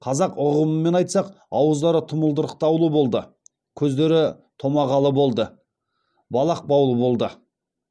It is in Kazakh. қазақ ұғымымен айтсақ ауыздары тұмылдырықтаулы болды көздері томағалы болды балақ баулы болды